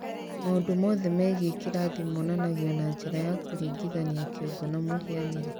Maũndũ mothe megiĩ kĩrathi monanagio na njĩra ya kũringithania kĩongo na mũhianĩre.